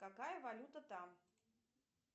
какая валюта там